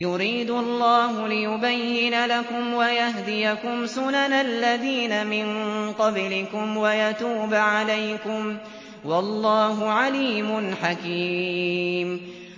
يُرِيدُ اللَّهُ لِيُبَيِّنَ لَكُمْ وَيَهْدِيَكُمْ سُنَنَ الَّذِينَ مِن قَبْلِكُمْ وَيَتُوبَ عَلَيْكُمْ ۗ وَاللَّهُ عَلِيمٌ حَكِيمٌ